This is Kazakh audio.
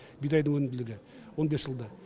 бидайдың өнімділігі он бес жылда